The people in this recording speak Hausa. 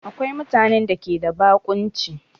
Akwai mutane da ke da baƙunci